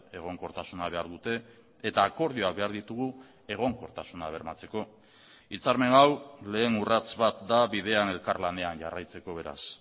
egonkortasuna behar dute eta akordioak behar ditugu egonkortasuna bermatzeko hitzarmen hau lehen urrats bat da bidean elkarlanean jarraitzeko beraz